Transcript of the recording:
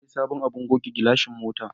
Na sayi sabon abin goge gilashin mota.